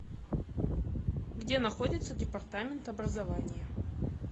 где находится департамент образования